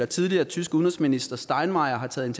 tidligere tyske udenrigsminister steinmeier har taget